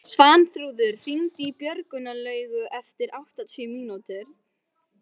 Svanþrúður, hringdu í Björnlaugu eftir áttatíu mínútur.